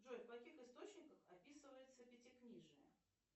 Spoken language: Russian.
джой в каких источниках описывается пятикнижие